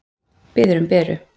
Biður um Beru.